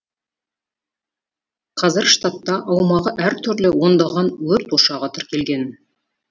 қазір штатта аумағы әр түрлі ондаған өрт ошағы тіркелген